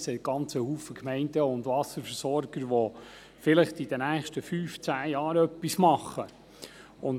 Es gibt aber sehr viele Gemeinden und Wasserversorger, die vielleicht in den nächsten fünf bis zehn Jahren etwas machen wollen.